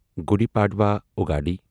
Gudi Padwa اُگاڑی